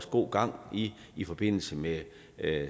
god gang i i forbindelse med